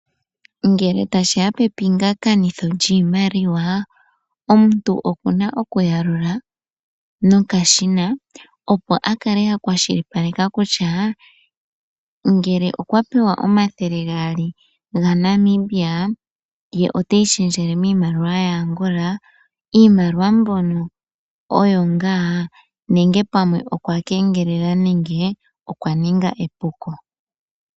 Ngele tashiya pepingakanitho lyiimaliwa, omuntu okuna okuyalula nokashina opo akale akwashilipaleka kutya, ngele okwa pewa 200 gaNamibia ye oteyi shendjele miimaliwa yaAngola, iimaliwa mbono oyo ngaa, nenge pamwe okwakengelela nenge okwa ninga epuko.